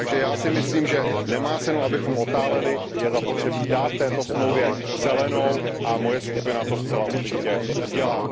Takže já si myslím, že nemá cenu, abychom otáleli, je zapotřebí dát této dohodě zelenou a moje skupina to zcela určitě udělá.